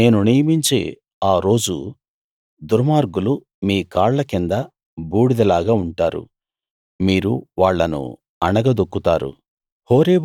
నేను నియమించే ఆ రోజు దుర్మార్గులు మీ కాళ్ళ కింద బూడిదలాగా ఉంటారు మీరు వాళ్ళను అణగదొక్కుతారు